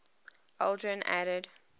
aldrin added